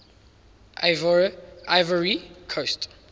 ivoire ivory coast